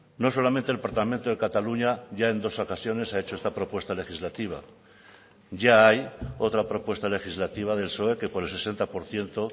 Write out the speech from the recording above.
no solamente el parlamento de cataluña ya en dos ocasiones ha hecho esta propuesta legislativa ya hay otra propuesta legislativa del psoe que por el sesenta por ciento